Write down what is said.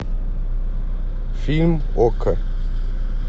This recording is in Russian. фильм окко